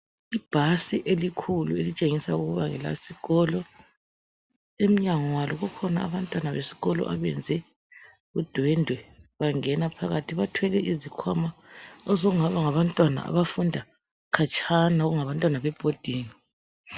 Ibhasi elikhulu elitshengisa ukuba ngelesikolo emnyango walo kukhona abantwana besikolo abenze udwendwe bangene phakathi bathwele izikhwama osokungaba ngabantwana abafunda khatshana okungabantwana bebhodingi.